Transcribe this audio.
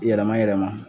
Yɛlɛma yɛlɛma